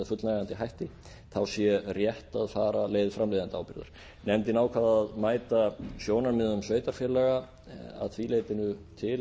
fullnægjandi sé rétt að fara leið framleiðendaábyrgðar nefndin ákvað að mæta sjónarmiðum sveitarfélaga að því leytinu til